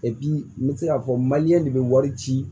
n bɛ se k'a fɔ de bɛ wari ci